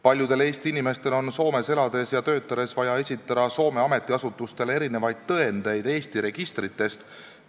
Paljudel Eesti inimestel on Soomes elades ja töötades vaja esitada Soome ametiasutustele erinevaid tõendeid Eesti registritest.